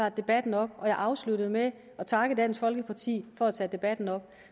tager debatten op og jeg afsluttede med at takke dansk folkeparti for at tage debatten op